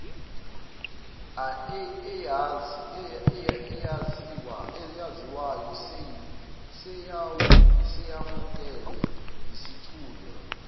eyaziwayo seyamukelwe yisithunywa